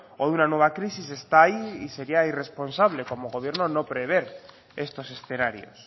o una nueva crisis está ahí y sería irresponsable como gobierno no prever estos escenarios